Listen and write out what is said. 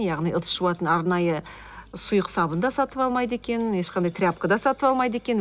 яғни ыдыс жуатын арнайы сұйық сабын да сатып алмайды екен ешқандай тряпка да сатып алмайды екен